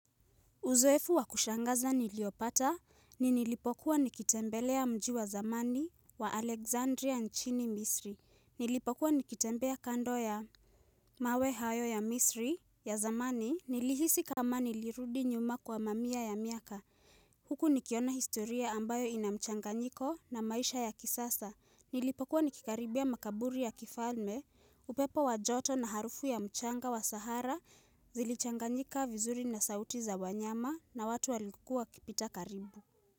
Uzoefu wa kushangaza niliopata ni nilipokuwa nikitembelea mji wa zamani wa Alexandria nchini Misri. Nilipokuwa nikitembea kando ya mawe hayo ya Misri ya zamani nilihisi kama nilirudi nyuma kwa mamia ya miaka. Huku nikiona historia ambayo ina mchanganyiko na maisha ya kisasa. Nilipokua nikikaribia makaburi ya kifalme, upepo wa joto na harufu ya mchanga wa sahara zilichanganyika vizuri na sauti za wanyama na watu walikua wakipita karibu.